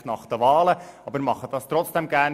Ich mache das aber trotzdem gerne;